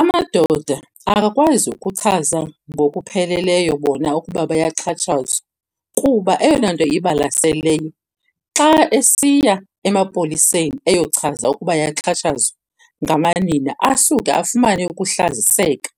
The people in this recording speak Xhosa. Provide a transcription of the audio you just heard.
Amadoda akakwazi ukuchaza ngokupheleleyo bona ukuba bayaxhatshazwa kuba eyona nto ibalaseleyo xa esiya emapoliseni eyochaza ukuba ayaxhatshazwa ngamanina, asuke afumane ukuhlaziseka